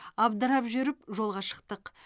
абдырап жүріп жолға шықтық